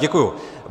Děkuji.